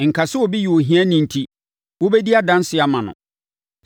Nka sɛ obi yɛ ohiani enti wobɛdi adanseɛ ama no.